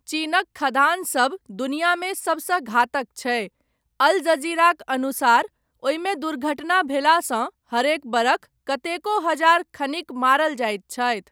चीनक खदानसभ दुनियामे सभसँ घातक छै, अल जज़ीराक अनुसार, ओहिमे दुर्घटना भेलासँ हरेक बरख कतेको हज़ार खनिक मारल जाइत छथि।